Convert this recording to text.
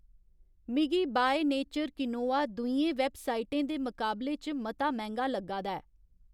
मिगी by nature quinoa दूइयें वैबसाइटें दे मकाबले च मता मैंह्‌गा लग्गा दा ऐ